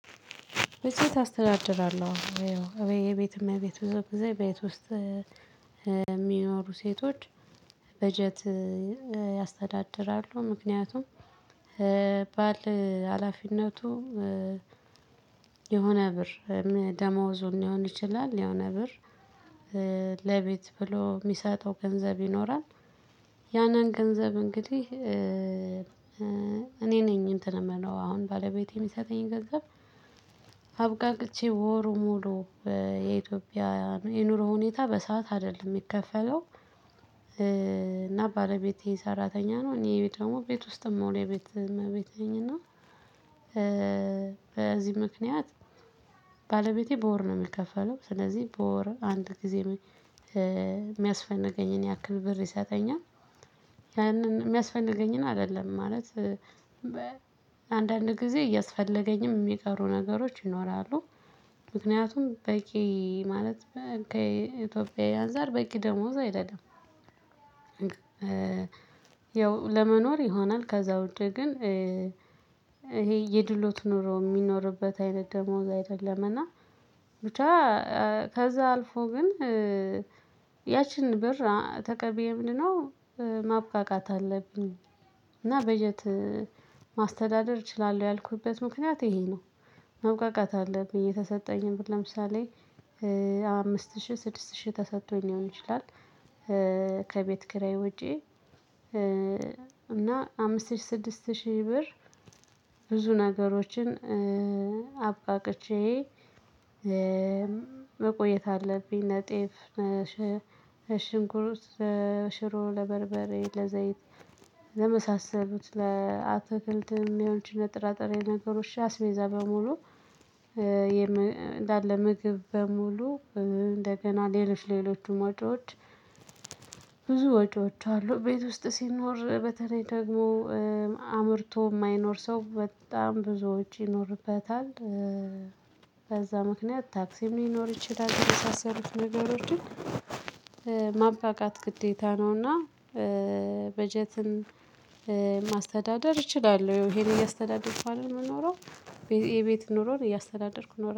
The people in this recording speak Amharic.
በሴት አስተዳድራለሁ አዎ የቤት እመቤት ብዙ ጊዜ ቤት ውስጥ የሚኖሩ ሴቶች በጀት ያስተዳድራሉ። ምክንያቱም ባል ሀላፊነቱ የሆነ ብር ደሞዙን ሊሆን ይችላል የሆነ ብር ለቤት ብሎ የሚሰጠው ገንዘብ ይኖራል። ያንን ገንዘብ እንግዲህ እኔ ነኝ እንትን የምለው አሁን ባለቤቴ የሚሰጠኝ ገንዘብ። አብቃቅቼ ወሩ ሙሉ የኢትዮጵያ የኑሮ ሁኔታ በሰአት አይደለም የሚከፈለው። እና ባለቤቴ ሰራተኛ ነው እኔ ደግሞ ቤት ውስጥ ምሆን የቤት እመቤቴ ነኝ። እና በዚህ ምክንያት ባለቤቴ በወር ነው የሚከፈለው። ስለዚህ በወር አንድ ጊዜ የሚያስፈንገኝን ያክል ብር ይሰጠኛል። ያንን የሚያስፈንገኝን አይደለም ማለት አንዳንድ ጊዜ እያስፈለገኝም የሚቀሩ ነገሮች ይኖራሉ። ምክንያቱም በቂ ማለት ከኢትዮጵያዊ አንፃር በቂ ደሞዝ አይደለም። ያው ለመኖር ይሆናል ከዛ ውጪ ግን ይሄ የድሎት ኖሮ የሚኖርበት አይነት ደሞዝ አይደለም። እና ብቻ ከዛ አልፎ ግን ያችን ብር ተቀብዬ ምንድነው? ማብቃቃት አለብኝ እና በጀት ማስተዳደር እችላለሁ ያልኩበት ምክንያት ይሄ ነው። ማብቃቃት አለብኝ የተሰጠኝን ብር ለምሳሌ አምስት ሺህ ስድስት ሺህ ተሰጥቶኝ ሊሆን ይችላል። ከቤት ክራይ ውጪ እና አምስት ሺህ ስድስት ሺህ ብር ብዙ ነገሮችን አብቃቅቼ መቆየት አለብኝ። ነጤፍ ሽንኩር ሽሮ ለበርበሬ ለዘይት ለመሳሰሉት ለአትክልት የሚያወንቺ ለጥራ ጥሬ ነገሮች እሺ አቤሜዛ በሙሉ እንዳለ ምግብ በሙሉ እንደገና ሌሎች ሌሎችም ወጪዎች። ብዙ ወጪዎች አሉ ቤት ውስጥ ሲኖር በተለይ ደግሞ አምርቶ የማይኖር ሰው በጣም ብዙ ውጪ ይኖርበታል። በዛ ምክንያት ታክሲ ሊኖር ይችላል የሚሳሰሉት ነገሮችን ማብቃቃት ግዴታ ነውና። በጀትም ማስተዳደር እችላለሁ ይሄን እያስተዳደርኩ አይደለም የምኖረው። የቤት ኑሮን እያስተዳደርኩ እኖራለው